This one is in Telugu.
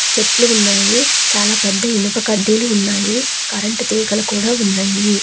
చెట్లు ఉన్నాయి చాలా పెద్ద ఇనుప కడ్డీలు ఉన్నాయి కరెంటు తీగలు కూడా ఉన్నాయి.